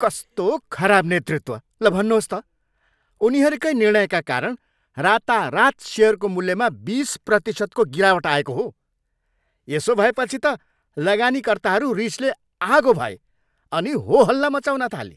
कस्तो खराब नेतृत्व, ल भन्नुहोस् त! उनीहरूकै निर्णयका कारण रातारात सेयरको मूल्यमा बिस प्रतिशतको गिरावट आएको हो। यसो भएपछि त लगानीकर्ताहरू रिसले आगो भए अनि होहल्ला मचाउन थाले।